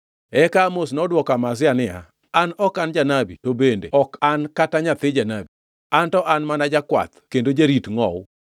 Eka Amos nodwoko Amazia niya, “An ok an janabi, to bende ok an kata nyathi janabi. Anto an mana jakwath kendo jarit ngʼowu.